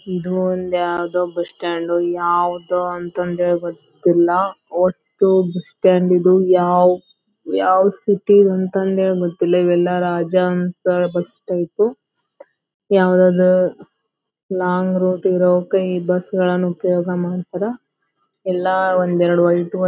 ಇದು ಒಂದು ಯಾವದೋ ಬಸ್ ಸ್ಟಾಂಡ್ ಯಾವದೋ ಅಂತ ಅಂದ್ ಹೇಳಬ ಗೊತ್ತಿಲ್ಲಾ. ಒಟ್ಟು ಬಸ್ ಸ್ಟಾಂಡ್ ಇದು ಯಾವ್ ಯಾವ್ ಸಿಟಿ ಅಂತ ಅಂದೇ ಗೊತ್ತಿಲ್ಲಾ ಎಲ್ಲಾ ರಾಜಹಂಸ ಬಸ್ ಟೈಪ್ ಯಾವದದ ಲಾಂಗ್ ರೂಟ್ ಇರೋಕ್ಕೆ ಈ ಬಸ್ಗಳನ್ನು ಉಪಯೋಗ ಮಾಡತರೇ. ಎಲ್ಲಾ ಒಂದ್ ಎರಡ್ --